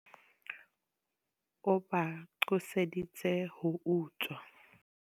O ba qoseditse ho utswa.